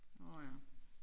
Nårh ja